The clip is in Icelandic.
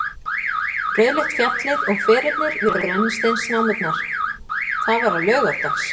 Þetta var á laugardags